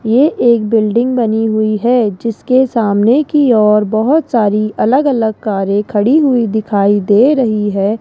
यह एक बिल्डिंग बनी हुई है जिसके सामने की और बहुत सारी अलग अलग कारे खड़ी हुई दिखाई दे रही है।